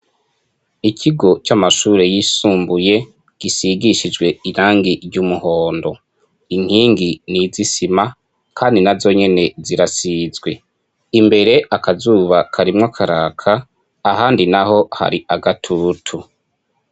Ikigo c'amashuri y'isumbuye gisigishijwe irangi ry'umuhondo inkingi n'izisima kandi na zonyene zirasizwe imbere akazuba karimwo karaka ahandi naho hari agatutu